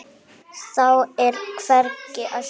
Þá er hvergi að sjá.